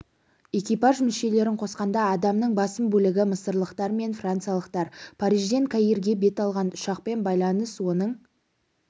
экипаж мүшелерін қосқанда адамның басым бөлігі мысырлықтар мен франциялықтар парижден каирге бет алған ұшақпен байланыс оның